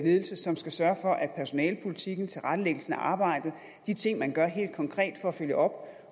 ledelse som skal sørge for at personalepolitikken og tilrettelæggelsen af arbejdet de ting man gør helt konkret for at følge op